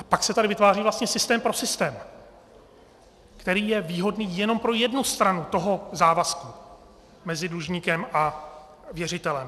A pak se tady vytváří vlastně systém pro systém, který je výhodný jenom pro jednu stranu toho závazku mezi dlužníkem a věřitelem.